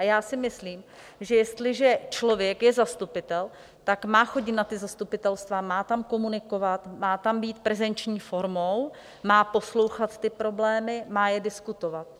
A já si myslím, že jestliže člověk je zastupitel, tak má chodit na ta zastupitelstva, má tam komunikovat, má tam být prezenční formou, má poslouchat ty problémy, má je diskutovat.